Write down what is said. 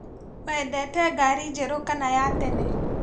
Wendete ngari njerũ kana ya tene